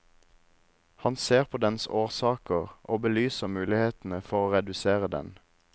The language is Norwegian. Han ser på dens årsaker og belyser mulighetene for å redusere den.